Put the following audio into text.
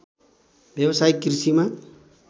व्यावसायिक कृषिमा